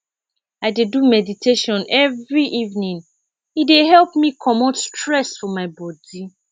i dey do meditation every evening e dey help me comot stress from my bodi